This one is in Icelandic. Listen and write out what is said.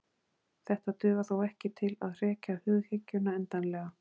Þetta dugar þó ekki til að hrekja hughyggjuna endanlega.